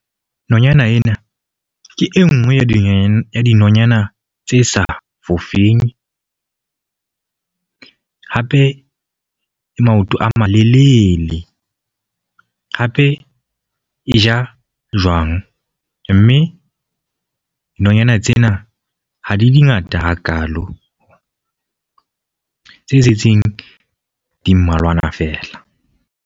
Nonyana ena ke e nngwe ya dinonya, dinonyana tse sa fofeng. Hape e maoto a malelele. Hape e ja jwang, mme dinonyana tsena ha di di ngata hakalo. Tse setseng di mmalwana fela.